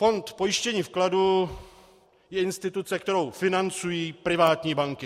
Fond pojištění vkladu je instituce, kterou financují privátní banky.